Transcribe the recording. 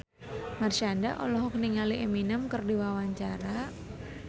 Marshanda olohok ningali Eminem keur diwawancara